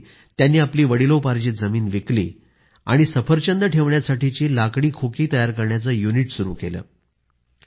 त्यासाठी त्यांनी आपली वडिलोपार्जित जमीन विकली आणि सफरचंद ठेवण्यासाठीची लाकडी खोकी तयार करण्याचे युनिट सुरू केले